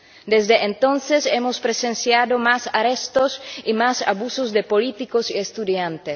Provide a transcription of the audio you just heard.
Desde entonces hemos presenciado más arrestos y más abusos de políticos y estudiantes.